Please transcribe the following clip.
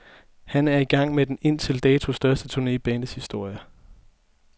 Han er i gang med den indtil dato største turne i bandets historie.